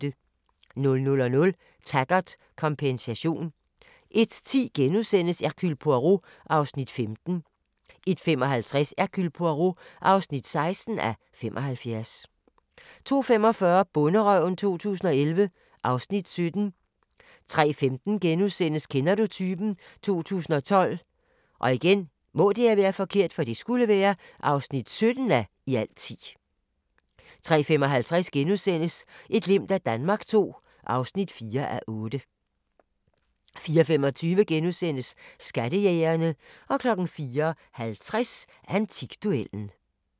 00:00: Taggart: Kompensation 01:10: Hercule Poirot (15:75)* 01:55: Hercule Poirot (16:75)* 02:45: Bonderøven 2011 (Afs. 17) 03:15: Kender du typen? 2012 (17:10)* 03:55: Et glimt af Danmark II (4:8)* 04:25: Skattejægerne * 04:50: Antikduellen *